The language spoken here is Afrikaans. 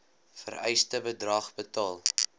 vereiste bedrag betaal